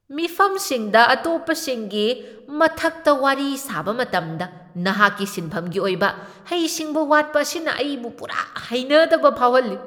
ꯃꯤꯐꯝꯁꯤꯡꯗ ꯑꯇꯣꯞꯄꯁꯤꯡꯒꯤ ꯃꯊꯛꯇꯥ ꯋꯥꯔꯤ ꯁꯥꯕ ꯃꯇꯝꯗ ꯅꯍꯥꯛꯀꯤ ꯁꯤꯟꯐꯝꯒꯤ ꯑꯣꯏꯕ ꯍꯩꯁꯤꯡꯕ ꯋꯥꯠꯄ ꯑꯁꯤꯅ ꯑꯩꯕꯨ ꯄꯨꯔꯥ ꯍꯩꯅꯗꯕ ꯐꯥꯎꯍꯜꯂꯤ꯫